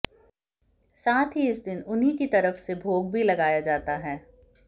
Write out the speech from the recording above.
साथ ही इस दिन उन्हीं की तरफ से भोग भी लगाया जाता है